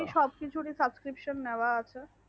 সব কিছুরই subscription নেওয়া আছে।